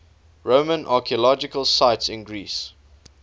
roman archaeological sites in greece